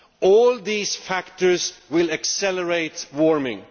All these factors will accelerate warming.